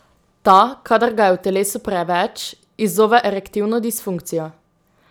Ta, kadar ga je v telesu preveč, izzove erektilno disfunkcijo.